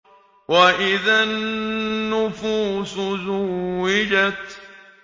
وَإِذَا النُّفُوسُ زُوِّجَتْ